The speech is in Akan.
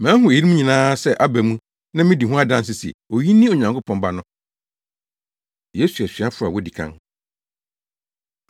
Mahu eyinom nyinaa sɛ aba mu na midi ho adanse sɛ oyi ne Onyankopɔn Ba no.” Yesu Asuafo A Wodi Kan